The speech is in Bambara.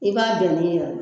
I b'a bɛn ni